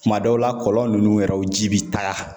Kuma dɔw la , kɔlɔn nunnu yɛrɛ u ji bi taa.